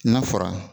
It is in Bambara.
N'a fɔra